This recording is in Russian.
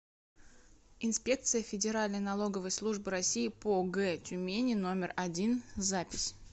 инспекция федеральной налоговой службы россии по г тюмени номер один запись